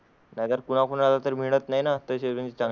कुणा कुणाला तर मिळत नाही ना त्याचे चांगले.